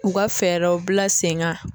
U ka fɛɛrɛw bila sen kan